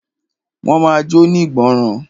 Máa jóní ìgbọràn.